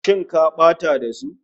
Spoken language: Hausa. Shinkafa ta dafu!